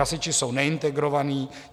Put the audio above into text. Hasiči jsou neintegrovaní.